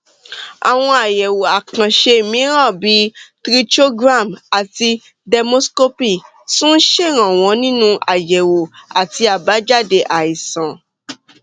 àwọn àyẹwò àkànṣe mìíràn bíi trichogram àti dermoscopy tún ń ṣèrànwọ nínú àyẹwò àti àbájáde àìsàn